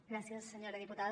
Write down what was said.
gràcies senyora diputada